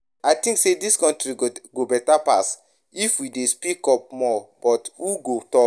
I think say dis country go better pass if we dey speak up more, but who go talk?